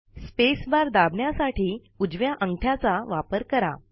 spacebar दाबण्यासाठी उजव्या अंगठ्याचा वापर करा